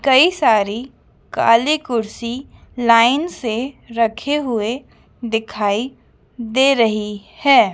कई सारी काली कुर्सी लाइन से रखे हुए दिखाई दे रही हैं।